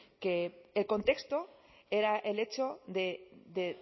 que el contexto era el hecho de